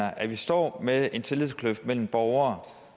at vi står med en tillidskløft mellem borgere